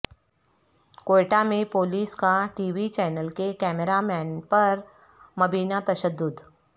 کوئٹہ میں پولیس کا T V channel کے کیمرہ مین پر مبینہ تشدد